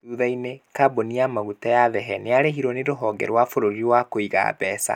Thutha-inĩ kambuni ya maguta ya Thehe nĩ yarĩhirwo nĩ rũhonge rwa bũrũri rwa kuiga mbeca.